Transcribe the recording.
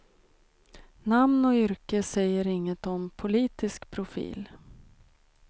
Namn och yrke säger inget om politisk profil.